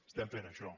estem fent això